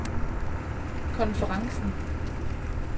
konferencen